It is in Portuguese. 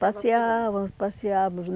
Passeávamos, passeávamos.